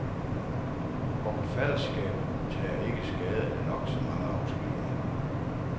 Og forfatterskabet tager ikke skade af nok så mange afsløringer.